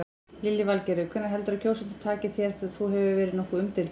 Lillý Valgerður: Hvernig heldurðu að kjósendur taki þér, þú hefur verið nokkuð umdeildur?